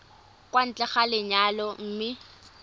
kwa ntle ga lenyalo mme